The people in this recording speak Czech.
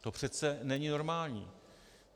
To přece není normální.